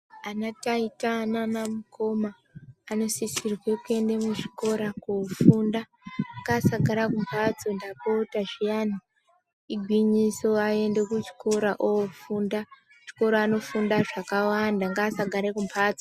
Ana taita nana mukoma vanosisirwe kuenda muzvikora kunofunda ngavasagara kumbatso ndapota zviyani igwinyiso vaende kuchikora ofunda kuchikora anofunda zvakawanda ngavasagarr kumbatso.